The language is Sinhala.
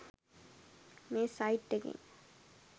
මේ සයිට් එකෙන්